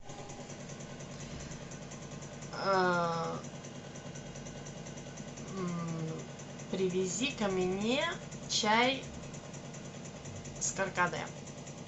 привези ка мне чай с каркаде